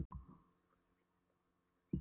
Sjúklingurinn ætlaði alveg að ærast úr kvölum.